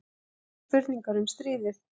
Vekur spurningar um stríðið